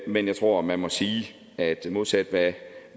men jeg tror man må sige modsat hvad